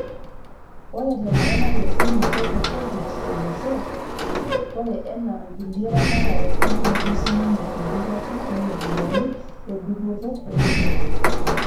Ore tenkata natoosho olmetai le Covid-19 olosho, oree enaa nkulei ramatare nenoto sininye empikata ooropiyiani edupoto egoloto.